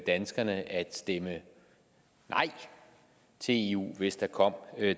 danskerne at stemme nej til eu hvis der kom